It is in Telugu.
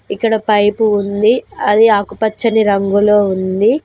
ఇక్కడ పైపు ఉంది అది ఆకుపచ్చని రంగులో ఉంది